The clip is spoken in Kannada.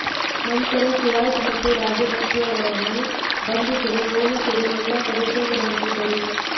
ನಂತರ ಸಿರಾಜ್ ಮತ್ತು ರಾಜಭಕ್ಷಿಯವರನ್ನು ಬಂಧಿಸಲು ಪೊಲೀಸರು ಎಲ್ಲಾ ಕಡೆ ಶೋಧ ನಡೆಸಿದ್ದರು